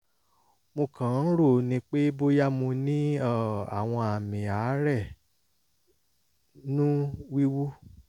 mo kàn ń rò ó ni pé bóyá mo ní um àwọn àmì àárẹ̀ nú wíwú